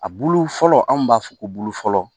A bulu fɔlɔ anw b'a fɔ ko bulu fɔlɔ